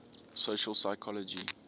social psychology